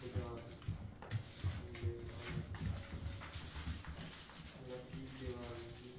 ਬਾਜ਼ਾਰ ਹੁੰਦੇ ਹਨ। ਦੀਵਾਲੀ